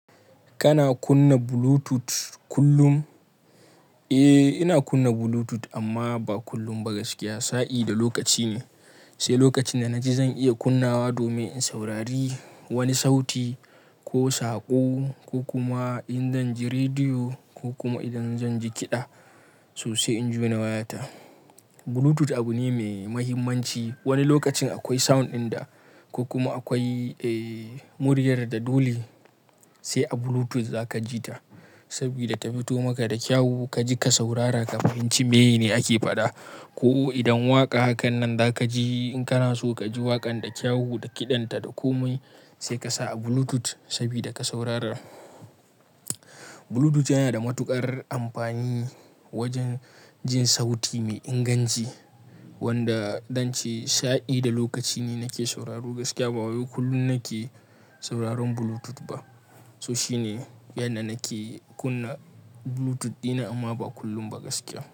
Kana kunna Bluetooth kullum? Eh, ina kunna Bluetooth amma ba kullum ba gaskiya. Sa'i da lokaci ne, sai lokacin da na ji zan iya kunnawa domin in saurari wani sauti ko saƙo, ko kuma in dan ji rediyo ko kuma idan zan ji kiɗa sosai injona wayata. Bluetooth abu ne mai mahimmanci. Wani lokacin akwai sound ɗin da ko kuma akwai, eh, muryar da dole sai a Bluetooth za ka ji ta saboda ta fito maka da kyau. Ka ji ka saurara kafin inji meyene ake faɗa. Ko idan waƙa hakan nan za ka ji in kana so ka ji waƙan da kyau da kiɗanta da komai, sai ka sa a Bluetooth saboda ka saurara. Bluetooth yana da matuƙar amfani wajen jin sauti mai inganci wanda dan ce shadi da lokaci ne nake sauraro gaskiya. Ba kullum nake sauraron Bluetooth ba. So shine yanda nake kunna Bluetooth ɗina amma ba kullum ba gaskiya.